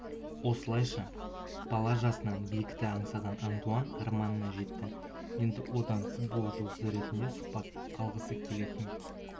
осылайша бала жасынан биікті аңсаған антуан арманына жетті енді одан футбол жұлдызы ретінде сұхбат алғысы келетін